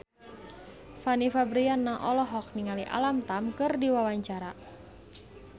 Fanny Fabriana olohok ningali Alam Tam keur diwawancara